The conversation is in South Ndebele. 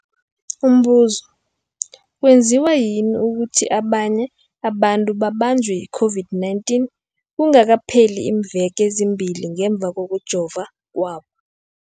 Umbuzo, kwenziwa yini ukuthi abanye abantu babanjwe yi-COVID-19 kungakapheli iimveke ezimbili ngemva kokujova kwabo?